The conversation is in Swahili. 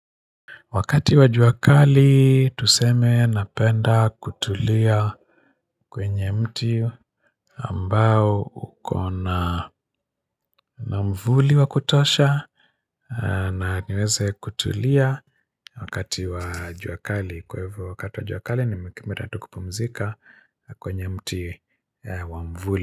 Wakati wa juakali tuseme napenda kutulia kwenye mti ambao uko na na mvuli wa kutosha na niweze kutulia wakati wa juakali kwa hivyo wakati wa juakali nimekamata tu kupumzika kwenye mti wa mvuli.